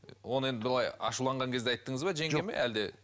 оны енді былай ашуланған кезде айттыңыз ба жеңгеме әлде